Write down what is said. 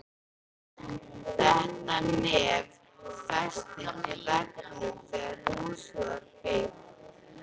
Þetta nef festist í veggnum þegar húsið var byggt.